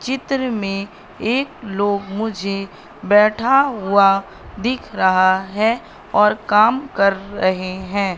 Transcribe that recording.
चित्र में एक लोग मुझे बैठा हुआ दिख रहा है और काम कर रहे हैं।